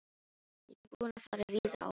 Ég er búinn að fara víða á honum.